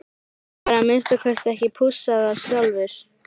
Hann var að minnsta kosti ekki pússaður sjálfur.